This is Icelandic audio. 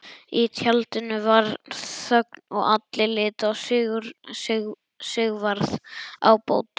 Í tjaldinu varð þögn og allir litu á Sigvarð ábóta.